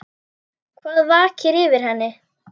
Hvað vakir fyrir henni?